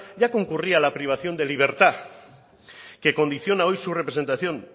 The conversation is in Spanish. ya concurría la privación de libertad que condiciona hoy su representación